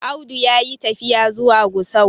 Audu ya yi tafiya zuwa Gusau